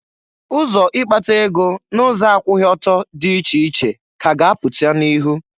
Ụzọ ikpata ego n'ụzọ akwụghị ọtọ dị iche iche ka a ga-apụta n'ihụ.